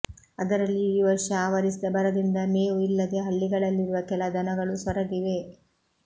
ಅದರಲ್ಲಿಯೂ ಈ ವರ್ಷ ಆವರಿಸಿದ ಬರದಿಂದ ಮೇವು ಇಲ್ಲದೆ ಹಳ್ಳಿಗಳಲ್ಲಿರುವ ಕೆಲ ದನಗಳು ಸೊರಗಿವೆ